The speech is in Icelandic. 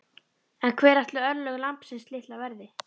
En hver ætli örlög lambsins litla verði?